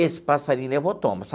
Esse passarinho levou tomas.